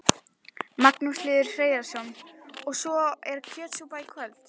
Magnús Hlynur Hreiðarsson: Og svo er kjötsúpa í kvöld?